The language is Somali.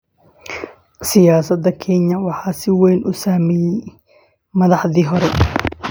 Siyaasadda Kenya waxaa si weyn u saameeya saamaynta madaxdii hore.